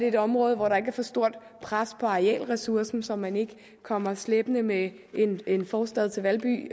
et område hvor der ikke er for stort pres på arealressourcen så man ikke kommer slæbende med en forstad til valby